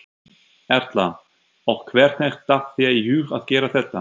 Erla: Og hvernig datt þér í hug að gera þetta?